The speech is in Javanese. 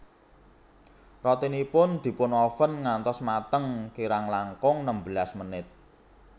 Rotinipun dipunoven ngantos mateng kirang langkung nembelas menit